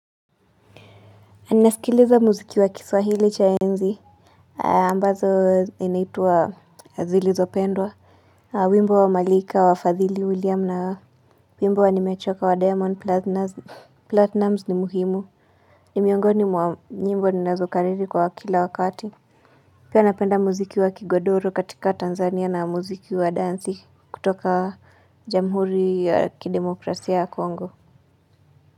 Anasikiliza muziki wa kiswahili cha enzi ambazo inaitwa zilizopendwa. Wimbo wa malika wa fathili william na wimbo wa nimechoka wa Diamond Platinuz platinumz ni muhimu. Ni miongoni mwa nyimbo ninazokariri kwa kila wakati. Pia napenda muziki wa kigodoro katika Tanzania na muziki wa dansi. Kutoka jamhuri ya kidemocracia ya Kongo.